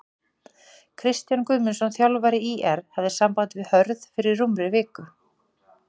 Kristján Guðmundsson þjálfari ÍR hafði samband við Hörð fyrir rúmri viku.